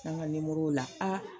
N'an ga nimorow la